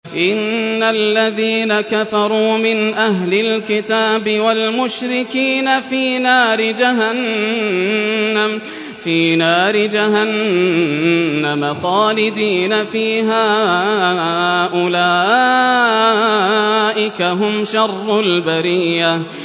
إِنَّ الَّذِينَ كَفَرُوا مِنْ أَهْلِ الْكِتَابِ وَالْمُشْرِكِينَ فِي نَارِ جَهَنَّمَ خَالِدِينَ فِيهَا ۚ أُولَٰئِكَ هُمْ شَرُّ الْبَرِيَّةِ